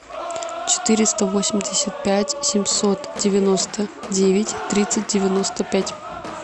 четыреста восемьдесят пять семьсот девяносто девять тридцать девяносто пять